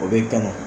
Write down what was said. O bɛ kan